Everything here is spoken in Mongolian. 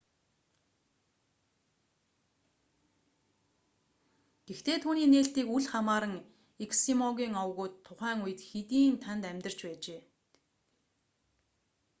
гэхдээ түүний нээлтийг үл хамааран эскимогийн овгууд тухайн үед хэдийн тэнд амьдарч байжээ